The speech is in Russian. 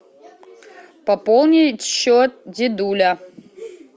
пополнить счет дедуля